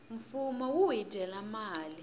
fumo wu hi dyela mali